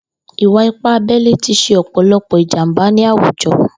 Ìwà ìpá àbẹlé ti ṣé ọpọlọpọ ijàmbá ni àwújọ